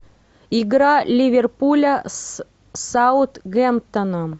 игра ливерпуля с саутгемптоном